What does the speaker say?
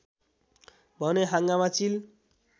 भने हाँगामा चिल